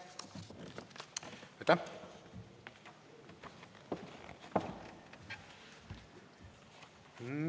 Aitäh!